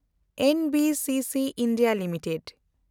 ᱮᱱ B C C (India) limited